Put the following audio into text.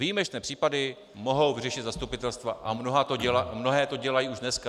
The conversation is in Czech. Výjimečné případy mohou vyřešit zastupitelstva a mnohá to dělají už dneska.